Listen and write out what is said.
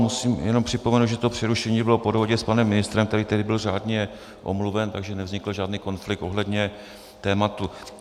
Musím jenom připomenout, že to přerušení bylo po dohodě s panem ministrem, který tehdy byl řádně omluven, takže nevznikl žádný konflikt ohledně tématu.